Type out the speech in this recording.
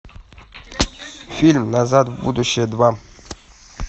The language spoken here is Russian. фильм назад в будущее два